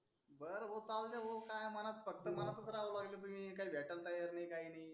बर भाऊ काय बोलते भाऊ काय मनात फक्त मनातच राहवलागले तुम्ही काही भेटला येत नाही काही नाही.